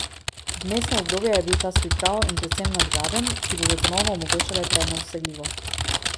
Vmesno obdobje je bil čas priprav in predvsem nadgradenj, ki bodo ponovno omogočale prej nedosegljivo.